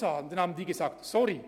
Darauf lautete die Antwort: